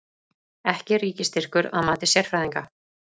Ekki ríkisstyrkur að mati sérfræðinga